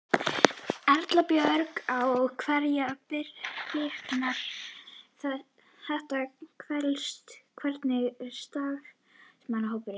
Erla Björg: Á hverjum bitnar þetta helst, hvernig er starfsmannahópurinn?